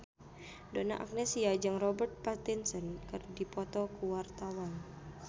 Donna Agnesia jeung Robert Pattinson keur dipoto ku wartawan